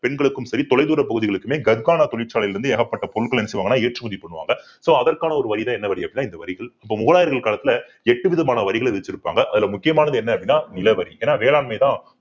பெண்களுக்கும் சரி தொலைதூர பகுதிகளுக்குமே தொழிற்சாலையில் இருந்து ஏகப்பட்ட பொருட்கள் என்ன செய்வாங்கன்னா ஏற்றுமதி பண்ணுவாங்க so அதற்கான ஒரு வரிதான் என்ன வரி அப்படின்னா இந்த வரிகள் இப்ப முகலாயர்கள் காலத்துல எட்டு விதமான வரிகளை விதிச்சிருப்பாங்க அதுல முக்கியமானது என்ன அப்படின்னா நிலவரி ஏன்னா வேளாண்மைதான்